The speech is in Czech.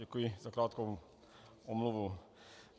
Děkuji za krátkou prodlevu.